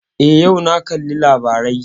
Eh, yau na kalli labarai